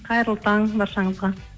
қайырлы таң баршаңызға